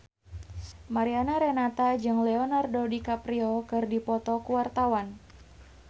Mariana Renata jeung Leonardo DiCaprio keur dipoto ku wartawan